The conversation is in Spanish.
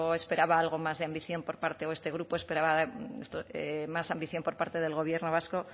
esperaba algo más de ambición por parte o este grupo esperaba más ambición por parte del gobierno vasco